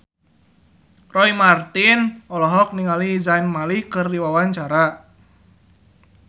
Roy Marten olohok ningali Zayn Malik keur diwawancara